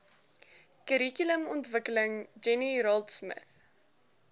kurrikulumontwikkeling jenny raultsmith